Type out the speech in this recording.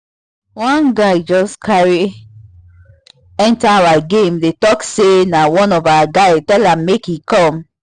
one guy just carry enter our game dey talk say na one of our guy tell am make e come